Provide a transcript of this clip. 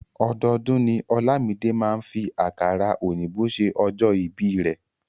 Ọdọọdún ni Olamide máa ń fi àkàrà òyìnbó ṣe ọjọ́ ìbíi rẹ̀.